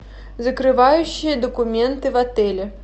закрывающие документы в отеле